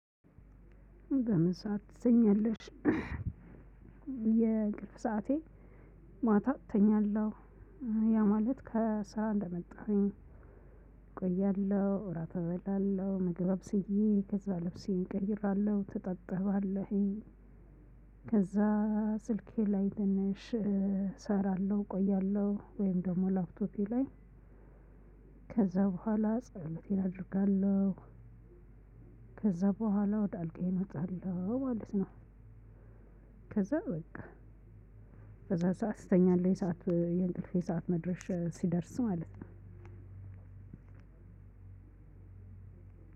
በምሳ ትተኛለሽ? የእንቅልፍ ሰዓቴ ማታ እተኛለሁ ያ ማለት ከስራ እንደመጣሁኝ እቆያለሁ። እራት እበላለሁ ምግብ አብስዬ ከዛ ልብሴን ቀይራለሁ እታጠባለህኝ ከዛ ስልኬ ላይ ትንሽ እሰራለሁ እቆያለሁ። ወይም ደግሞ ላፕቶፔ ላይ ከዛ በኋላ ጸሎቴን አደርጋለሁ። ከዛ በኋላ ወደ አልጋዬ አምጣለሁ ማለት ነው። ከዛ በቃ በዛ ሰዓት እተኛለሁ። የሰዓት የእንቅልፌ ሰዓት መድረሻ ሲደርስ ማለት ነው።